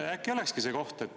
Äkki see olekski see koht.